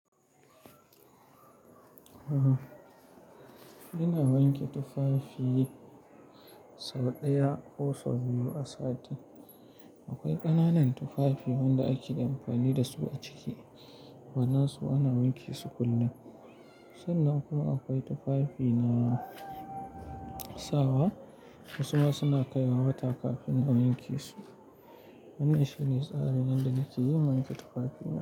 Ina wanke tufafi sau ɗaya ko sau biyu a sati. Akwai ƙananan tufafi wanda ake amfani da su a ciki, waɗansu ana wanke su kullum. Sannan kuma akwai tufafi na sawa, wasu ma suna kaiwa wata kafin a wanke su. Wannan shi ne tsarin yanda nake yin wanke tufafi na?